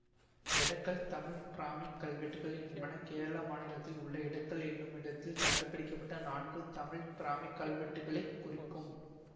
எடக்கல் தமிழ் பிராமிக் கல்வெட்டுகள் என்பன கேரள மாநிலத்தில் உள்ள எடக்கல் என்னுமிடத்தில் கண்டுபிடிக்கபட்ட நான்கு தமிழ் பிராமிக் கல்வெட்டுக்களைக் குறிக்கும்